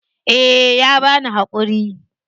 Eh ya bani hakuri.